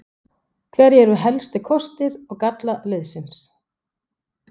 Hverjir eru helstu kostir og gallar liðsins?